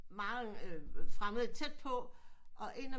Mange fremmede tæt på og en af dem